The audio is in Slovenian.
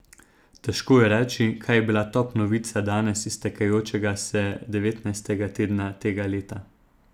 Težko je reči, kaj je bila top novica danes iztekajočega se devetnajstega tedna tega leta.